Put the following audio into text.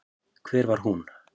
Hvar var hún?